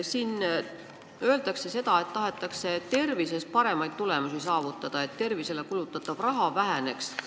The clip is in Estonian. Siin öeldakse, et tahetakse tervishoius paremaid tulemusi saavutada, et tervisele kulutatav raha väheneks.